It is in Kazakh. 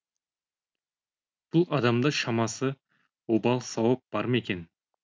бұл адамда шамасы обал сауап бар ма екен